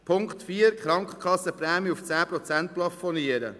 Punkt 4 will die Krankenkassenprämien auf 10 Prozent plafonieren: